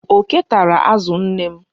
Oke tara azụ nne m.